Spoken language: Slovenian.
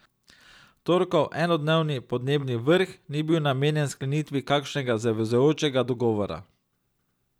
Torkov enodnevni podnebni vrh, ni bil namenjen sklenitvi kakšnega zavezujočega dogovora.